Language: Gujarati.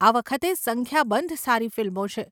આ વખતે સંખ્યાબંધ સારી ફિલ્મો છે.